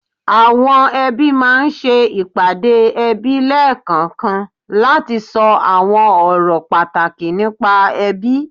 Àwọn ẹbí máa ń ṣe ìpàdé ẹbí lẹ́ẹ̀kankan láti sọ àwọn ọ̀rọ̀ pàtàkì nípa ẹbí